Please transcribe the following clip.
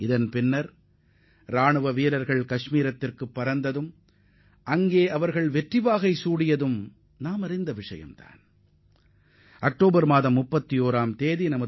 இதையடுத்து நமது படைகள் காஷ்மீருக்கு பறந்து சென்றன என்றால் நமது ராணுவம் எவ்வாறு வெற்றிகரமாக பணியாற்றியது என்பதை நாம் அறிய முடிகிறது